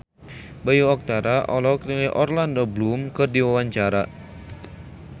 Bayu Octara olohok ningali Orlando Bloom keur diwawancara